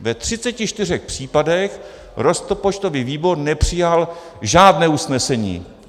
Ve 34 případech rozpočtový výbor nepřijal žádné usnesení.